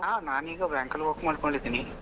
ಆ ನಾನು ಈಗ bank ಅಲ್ಲಿ work ಮಾಡ್ಕೊಂಡಿದ್ದೀನಿ.